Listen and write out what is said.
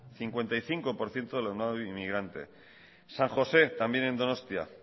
cincuenta y cinco por ciento de alumnado inmigrante san josé también en donostia